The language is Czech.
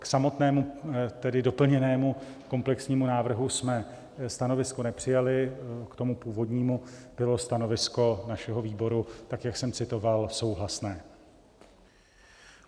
K samotnému - tedy doplněnému - komplexnímu návrhu jsme stanovisko nepřijali, k tomu původnímu bylo stanovisko našeho výboru tak, jak jsem citoval, souhlasné.